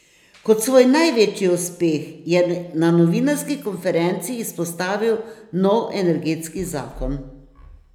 Kot svoj največji uspeh je na novinarski konferenci izpostavil nov energetski zakon.